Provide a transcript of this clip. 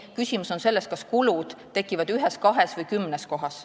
Küsimus on selles, kas kulud tekivad ühes, kahes või kümnes kohas.